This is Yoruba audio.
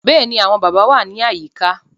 Bẹ́ẹ̀ ni, àwọn bàbá wà ní àyíká